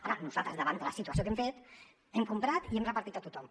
ara nosaltres davant de la situació què hem fet hem comprat i hem repartit a tothom